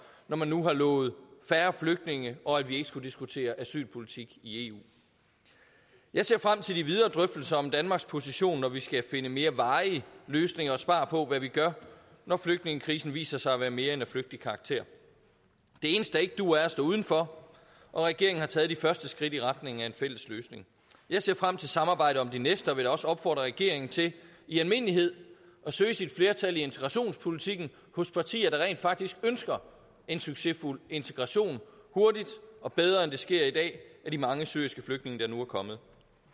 når man nu har lovet færre flygtninge og at vi ikke skulle diskutere asylpolitik i eu jeg ser frem til de videre drøftelser om danmarks position når vi skal finde mere varige løsninger og svar på hvad vi gør når flygtningekrisen viser sig at være mere end af flygtig karakter det eneste der ikke duer er at stå udenfor og regeringen har taget de første skridt i retning af en fælles løsning jeg ser frem til samarbejdet om de næste og vil også opfordre regeringen til i almindelighed at søge sit flertal i integrationspolitikken hos partier der rent faktisk ønsker en succesfuld integration hurtigt og bedre end det sker i dag af de mange syriske flygtninge der nu er kommet